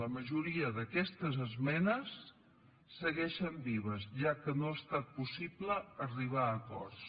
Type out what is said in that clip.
la majoria d’aquestes esmenes segueixen vives ja que no ha estat possible arribar a acords